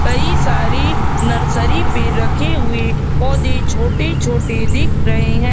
कई सारी नर्सरी पे रखे हुए पौधे छोटे छोटे दिख रहे हैं।